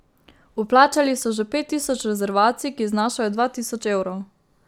Vplačali so že pet tisoč rezervacij, ki znašajo dva tisoč evrov.